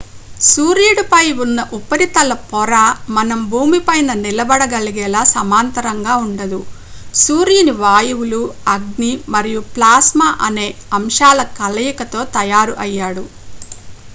సూర్యుడిపై ఉన్న ఉపరితల పొర మనం భూమిపైన నిలబడగలిగేలా సమాంతరంగా ఉండదు సూర్యుని వాయువులు అగ్ని మరియు ప్లాస్మా అనే అంశాల కలయికతో తయారు అయ్యాడు